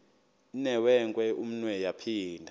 inewenkwe umnwe yaphinda